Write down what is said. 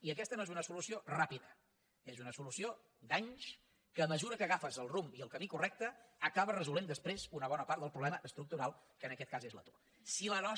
i aquesta no és una solució ràpida és una solució d’anys que a mesura que n’agafes el rumb i el camí correcte acabes resolent després una bona part del problema estructural que en aquest cas és l’atur